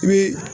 I bɛ